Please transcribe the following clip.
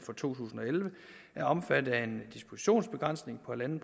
to tusind og elleve er omfattet af en dispositionsbegrænsning på en